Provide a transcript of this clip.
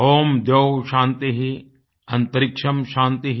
ॐ द्यौः शान्तिः अन्तरिक्षं शान्तिः